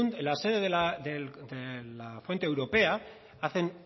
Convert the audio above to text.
en la sede de la fuente europea hace